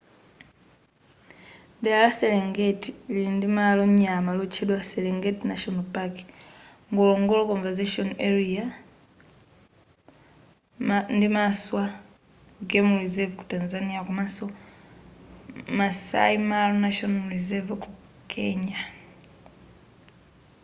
dera la serengeti lili ndi malo nyama lotchedwa serenget national park ngorongoro conservation area ndi maswa game reserve ku tanzania komanso maasai mara national reserver ku kenya